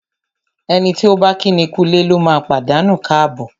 Ẹni tí ọ̀ bá kíni kúulé lóma pàdánù káàbọ̀.